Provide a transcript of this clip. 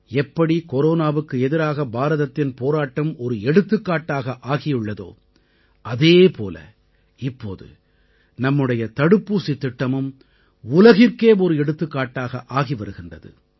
எப்படி கொரோனாவுக்கு எதிராக பாரதத்தின் போராட்டம் ஒரு எடுத்துக்காட்டாக ஆகியுள்ளதோ அதே போல இப்போது நம்முடைய தடுப்பூசித் திட்டமும் உலகிற்கே ஒரு எடுத்துக்காட்டாக ஆகி வருகின்றது